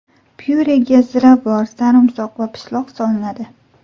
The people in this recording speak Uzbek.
Pyurega ziravor, sarimsoq va pishloq solinadi.